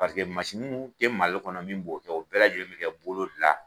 Paseke masin'u te mali kɔnɔ min b'o kɛ o bɛɛ lajɛlen be kɛ bolo la